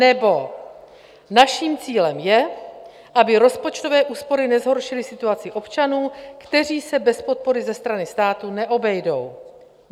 Nebo: "Naším cílem je, aby rozpočtové úspory nezhoršily situaci občanů, kteří se bez podpory ze strany státu neobejdou."